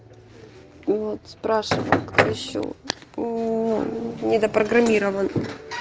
вот спрашиваю кто ещё ну не запрограммирован